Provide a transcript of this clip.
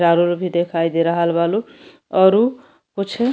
चारों भी देखाई दे रहल बा लो औरु कुछ --